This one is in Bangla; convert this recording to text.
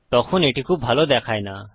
তখন এটি খুব ভালো দেখায় না